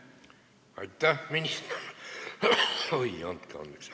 Andke andeks!